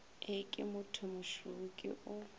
e ke mothomošweu ke o